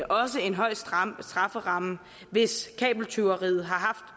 også en høj strafferamme hvis kabeltyveriet har haft